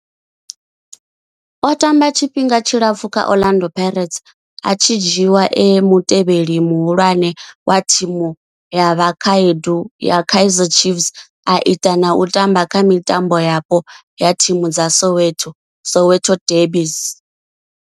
O tamba tshifhinga tshilapfhu kha Orlando Pirates, a tshi dzhiiwa e mutevheli muhulwane wa thimu ya vhakhaedu ya Kaizer Chiefs, a ita na u tamba kha mitambo yapo ya thimu dza Soweto Soweto derbies.